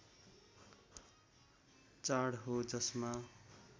चाड हो जसमा